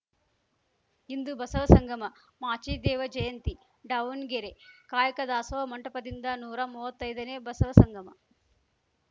ಇಂದು ಬಸವ ಸಂಗಮ ಮಾಚಿದೇವ ಜಯಂತಿ ದಾವಣ್ಗೆರೆ ಕಾಯಕ ದಾಸೋಹ ಮಂಟಪದಿಂದ ನೂರಾ ಮುವತ್ತೈದನೇ ಬಸವ ಸಂಗಮ